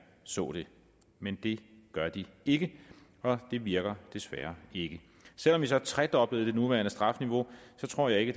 så det men det gør de ikke og det virker desværre ikke selv om vi så tredoblede det nuværende strafniveau tror jeg ikke